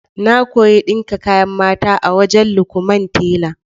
Na koyi ɗinka kayan mata a wajen Lukman tela.